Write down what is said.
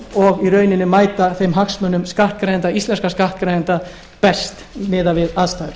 og í rauninni mæta þeim hagsmunum íslenskra skattgreiðenda best miðað við aðstæður